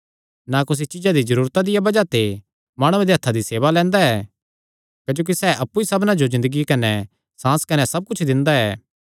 ना कुसी चीज्जा दी जरूरता दिया बज़ाह ते माणुआं दे हत्थां दी सेवा लैंदा ऐ क्जोकि सैह़ अप्पु ई सबना जो ज़िन्दगी कने सांस कने सब कुच्छ दिंदा ऐ